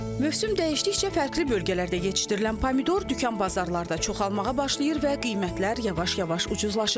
Mövsüm dəyişdikcə fərqli bölgələrdə yetişdirilən pomidor dükan bazarlarda çoxalmağa başlayır və qiymətlər yavaş-yavaş ucuzlaşır.